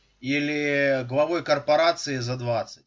или главой корпорации за двадцать